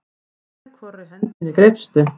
Með hvorri hendinni greipstu?